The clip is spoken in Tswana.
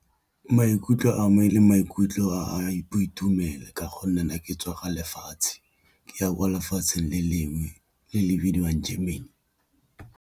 Maikutlo a me le maikutlo boitumelo ka gonne na ke tswa ga lefatshe, ke a molefatsheng le lengwe le le bidiwang Germany.